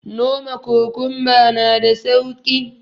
Noma kokunba na da sauki